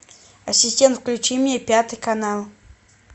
ассистент включи мне пятый канал